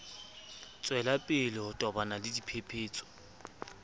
tswelapele ho tobana le dipephetso